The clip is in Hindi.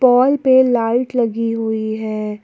पोल पे लाइट लगी हुई है।